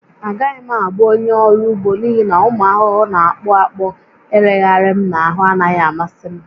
Agaghị m abụ onye ọrụ ugbo n'ihi na ụmụ ahụhụ na-akpụ akpụ ịrịgharị m n'ahụ anaghị amasị m